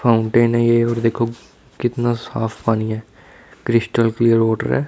Fountain है ये और देखो कितना साफ पानी है क्रिस्टल क्लियर वाटर है।